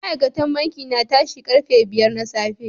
Ma'aikatan banki na tashi karfe biyar na safe.